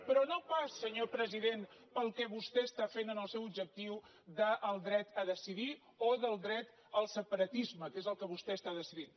però no pas senyor president pel que vostè està fent amb el seu objectiu del dret a decidir o del dret al separatisme que és el que vostè està decidint